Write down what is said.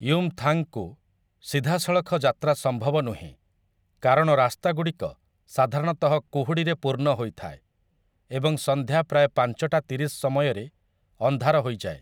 ୟୁମଥାଙ୍ଗ୍‌କୁ ସିଧାସଳଖ ଯାତ୍ରା ସମ୍ଭବ ନୁହେଁ କାରଣ ରାସ୍ତାଗୁଡ଼ିକ ସାଧାରଣତଃ କୁହୁଡ଼ିରେ ପୂର୍ଣ୍ଣ ହୋଇଥାଏ ଏବଂ ସନ୍ଧ୍ୟା ପ୍ରାୟ ପାଞ୍ଚଟା ତିରିଶ ସମୟରେ ଅନ୍ଧାର ହୋଇଯାଏ ।